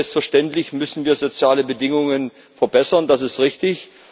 Selbstverständlich müssen wir soziale Bedingungen verbessern das ist richtig.